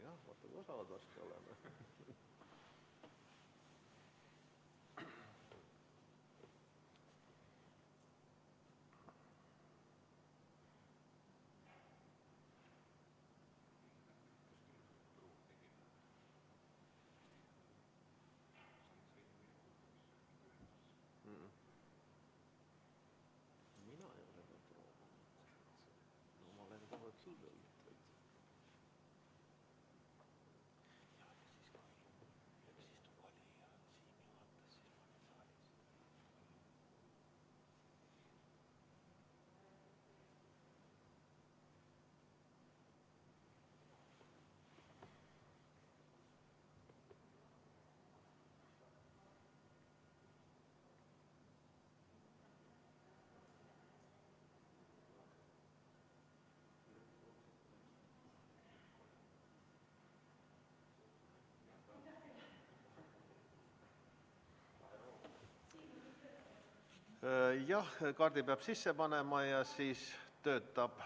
Jah, kaardi peab sisse panema ja siis töötab.